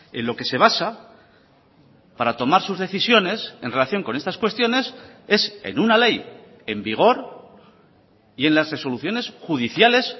en lo que se basa para tomar sus decisiones en relación con estas cuestiones es en una ley en vigor y en las resoluciones judiciales